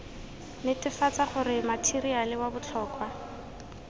netefatsa gore matheriale wa botlhokwa